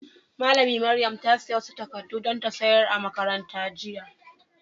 Malami Maryam ta siya wasu takadu dan ta sayar a'makaranta jiya.